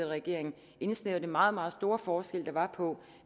regering indsnævret den meget meget store forskel der var på